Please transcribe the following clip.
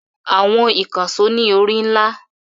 Àwọn ìkànṣó ní orí ńlá.